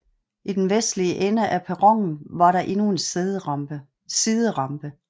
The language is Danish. I den vestlige ende af perronen var der endnu en siderampe